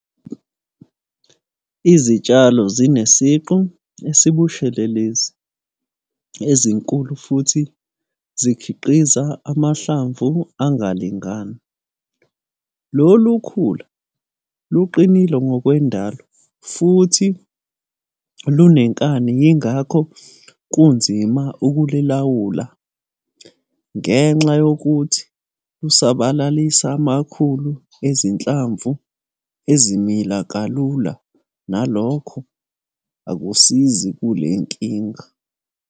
Izitshalo zinesiqu esibushelelezi ezinkulu futhi zikhiqiza amahlamvu engalingani. Lolu khula luqinile ngokwendalo futhi lunenkani yingakho kunzima ukululawula. Ngenxa yokuthi lusabalalisa amakhulu ezinhlamvu ezimila kalula nalokho akusizi kule nkinga.